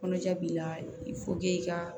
Kɔnɔja b'i la i fo k'i ka